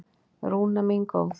Rúna mín góð.